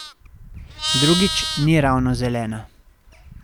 Drugič, ni ravno zelena.